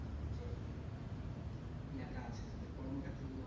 কি এটা আছে তাদের কর্ম ক্ষেত্র গুলো